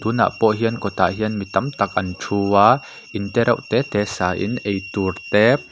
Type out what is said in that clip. tunah pawh hian kawtah hian mi tam tak an thu a in te reuh te te sa in eitur te--